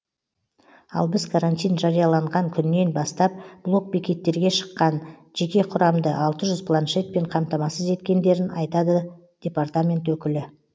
ал біз карантин жарияланған күннен бастап блок бекеттерге шыққан жеке құрамды алты жүз планшетпен қамтамасыз етткендерін айтады департамент өкілі